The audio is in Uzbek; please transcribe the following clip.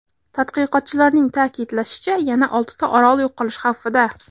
Tadqiqotchilarning ta’kidlashicha, yana oltita orol yo‘qolish xavfida.